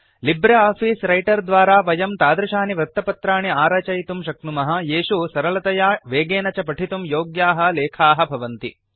Libre office Writer द्वारा वयं तादृशानि वृत्तपत्राणि आरचयितुं शक्नुमः येषु सरलतया वेगेन च पठितुं योग्याः लेखाः भवन्ति